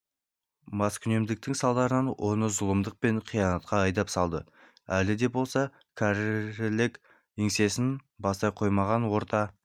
маскүнемдіктің салдары оны зұлымдық пен қиянатқа айдап салды әлі де болса кәрілік еңсесін баса қоймаған орта